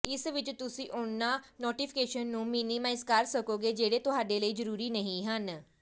ਇਸ ਵਿੱਚ ਤੁਸੀਂ ਉਨ੍ਹਾਂ ਨੋਟੀਫ਼ਿਕੇਸ਼ਨ ਨੂੰ ਮਿਨੀਮਾਈਜ਼ ਕਰ ਸਕੋਗੇ ਜਿਹੜੇ ਤੁਹਾਡੇ ਲਈ ਜ਼ਰੂਰੀ ਨਹੀਂ ਹਨ